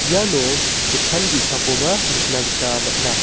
iano dokan ge·sakoba nikna gita man·a.